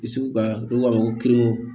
Sugu ka n'u k'a ma ko